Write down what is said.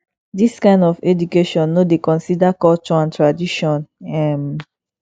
this kind of education no dey consider culture and tradition um